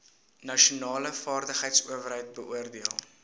nasionale vaardigheidsowerheid beoordeel